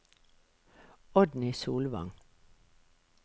Oddny Solvang